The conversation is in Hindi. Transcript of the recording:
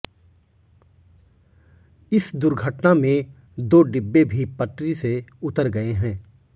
इस दुर्घटना में दो डिब्बे भी पटरी से उतर गए हैं